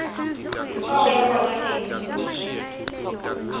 fa o ya kwa nageng